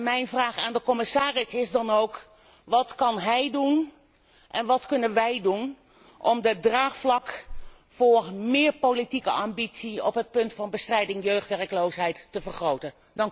Mijn vraag aan de commissaris is dan ook wat kunt u doen en wat kunnen wij doen om het draagvlak voor meer politieke ambitie op het punt van de bestrijding van jeugdwerkloosheid te vergroten?